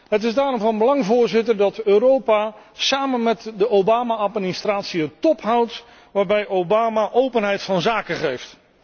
Het is daarom van belang, Voorzitter, dat Europa samen met de Obama administratie een top houdt waarbij Obama openheid van zaken geeft.